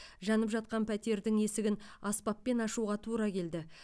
жанып жатқан пәтердің есігін аспаппен ашуға тура келді